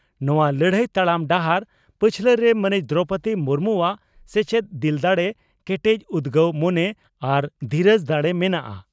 ᱱᱚᱣᱟ ᱞᱟᱹᱲᱦᱟᱹᱭ ᱛᱟᱲᱟᱢ ᱰᱟᱦᱟᱨ ᱯᱟᱪᱷᱞᱟᱨᱮ ᱢᱟᱹᱱᱤᱡ ᱫᱨᱚᱣᱯᱚᱫᱤ ᱢᱩᱨᱢᱩᱣᱟᱜ ᱥᱮᱪᱮᱫ, ᱫᱤᱞ ᱫᱟᱲᱮ, ᱠᱮᱴᱮᱡᱽ ᱩᱫᱽᱜᱟᱹᱣ ᱢᱚᱱᱮ ᱟᱨ ᱫᱷᱤᱨᱟᱹᱡᱽ ᱫᱟᱲᱮ ᱢᱮᱱᱟᱜᱼᱟ ᱾